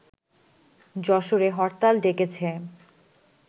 যশোরে হরতাল ডেকেছে